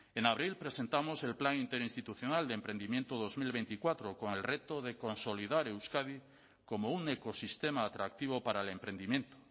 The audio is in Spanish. en abril presentamos el plan interinstitucional de emprendimiento dos mil veinticuatro con el reto de consolidar euskadi como un ecosistema atractivo para el emprendimiento